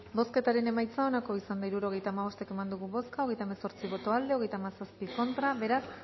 bozketaren emaitza onako izan da hirurogeita hamabost eman dugu bozka hogeita hemezortzi boto aldekoa treinta y siete contra beraz